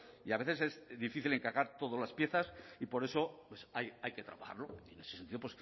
y a veces es difícil encajar todas las piezas y por eso hay que trabajarlo y en ese sentido